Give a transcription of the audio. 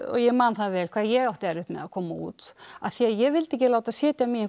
ég man það vel hvað ég átti erfitt með að koma út af því að ég vildi ekki láta setja mig í einhvern